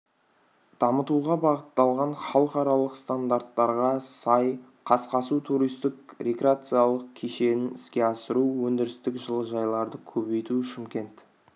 дамытуға бағытталған халықаралық стандарттарға сай қасқасу туристік рекреациялық кешенін іске асыру өндірістік жылыжайларды көбейту шымкент